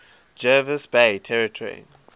jervis bay territory